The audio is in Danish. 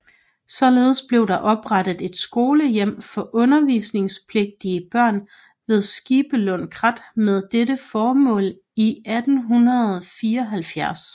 Således blev der oprettet et skolehjem for undervisningspligtige børn ved Skibelund Krat med dette formål i 1874